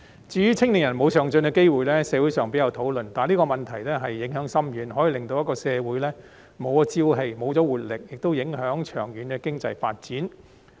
至於青年人沒有上進機會的問題，社會上比較少討論，但這個問題影響深遠，可以令社會沒有朝氣、沒有活力，亦影響長遠經濟發展。